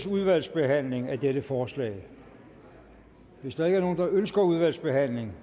udvalgsbehandling af dette forslag hvis der ikke er nogen der ønsker udvalgsbehandling